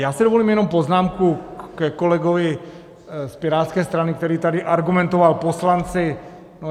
Já si dovolím jenom poznámku ke kolegovi z Pirátské strany, který tady argumentoval poslanci.